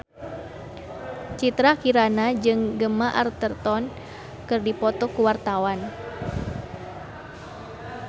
Citra Kirana jeung Gemma Arterton keur dipoto ku wartawan